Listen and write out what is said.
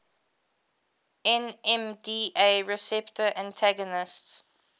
nmda receptor antagonists